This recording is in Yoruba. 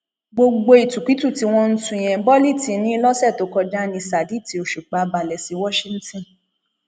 gbogbo ìtukutu tí wọn ń tú yẹn bọlíìtì ni lọsẹ tó kọjá ni ṣádìtì òṣùpá balẹ sí washington